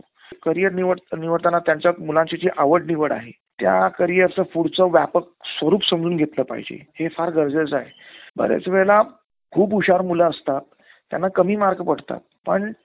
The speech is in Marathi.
career निडताना त्यांच्या मुलाची जी आवड निवड आहे, त्या careerचं पुढचं व्यापक स्वरुप समजून घेतलं पाहिजे हे फार गरजेचं आहे. बऱ्याच वेळेला खूप हुशार मुलं असतात. त्यांना कमी mark पडतात पण